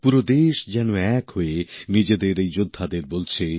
পুরো দেশ যেন এক হয়ে নিজেদের এই যোদ্ধাদের বলছে